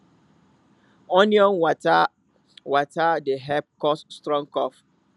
onion water water dey help cure strong cough